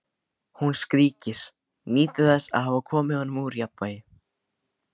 Hún skríkir, nýtur þess að hafa komið honum úr jafnvægi.